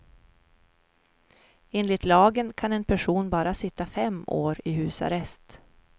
Enligt lagen kan en person bara sitta fem år i husarrest.